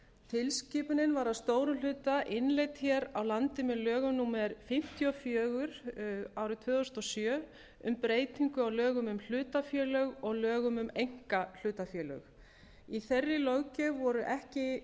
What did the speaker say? tilskipunin var að stórum hluta innleidd hér á landi með lögum númer fimmtíu og fjögur tvö þúsund og sjö um breytingu á lögum um hlutafélög og lögum um einkahlutafélög í þeirri löggjöf voru ekki ákvæði